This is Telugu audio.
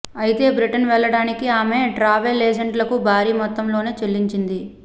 అయితే బ్రిటన్ వెళ్ళడానికి ఆమె ట్రావెల్ ఏజెంట్లకు భారీ మొత్తంలోనే చెల్లించింది